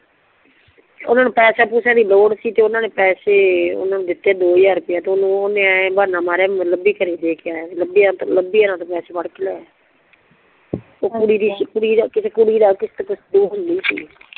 ਓਨਾ ਨੂ ਪੈਸੇ ਪਉਸੇ ਲੋੜ ਸੀ ਤੇ ਓਨਾ ਪੈਸੇ ਦੀਤੇ ਦੋ ਹਜ਼ਾਰ ਰੁੱਪਈਆ ਤੇ ਓਨਾ ਨੂੰ ਬਹਾਨਾ ਮਾਰਿਆ ਮੈਂ ਲੱਭੀ ਘੜੀ ਦੇ ਕੇ ਆਯਾ ਲੱਭੀ ਆ ਤੇ ਪੈਸੇ ਫੜ ਕੇ ਲਿਯੇਆ ਕੁੜੀ ਦਾ ਕਿਸੇ ਕੁੜੀ ਦਾ ਗਿਫ਼ਟ ਗੁਫਟ